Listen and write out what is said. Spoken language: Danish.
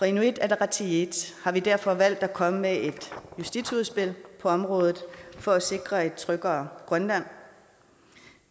inuit ataqatigiit har vi derfor valgt at komme med et justitsudspil på området for at sikre et tryggere grønland